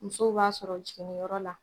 Musow b'a sɔrɔ jiginniyɔrɔ la